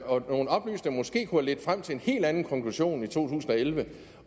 ledt frem til en helt anden konklusion i to tusind og elleve